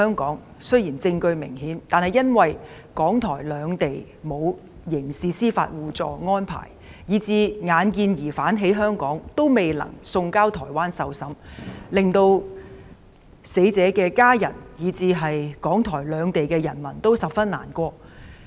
案件雖然有明顯證據，但由於港台兩地沒有刑事司法互助安排，所以即使疑兇在香港，也未能把他送交台灣受審，令死者家屬以至港台兩地人民十分難過。